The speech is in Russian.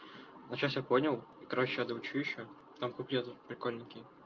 вот сейчас все понял короче я доучу ещё там куплет прикольненький